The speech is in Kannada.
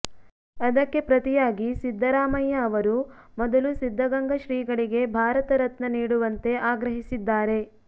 ಅದಕ್ಕೆ ಪ್ರತಿಯಾಗಿ ಸಿದ್ದರಾಮಯ್ಯ ಅವರು ಮೊದಲು ಸಿದ್ದಗಂಗಾ ಶ್ರೀಗಳಿಗೆ ಭಾರತ ರತ್ನ ನೀಡುವಂತೆ ಆಗ್ರಹಿಸಿದ್ದಾರೆ